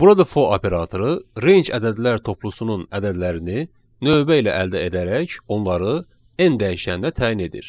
Burada for operatoru range ədədlər toplusunun ədədlərini növbə ilə əldə edərək onları n dəyişəninə təyin edir.